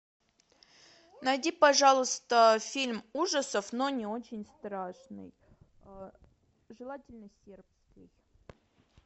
найди пожалуйста фильм ужасов но не очень страшный желательно сербский